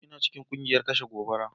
Ina cikin kungiyar kashe gobara.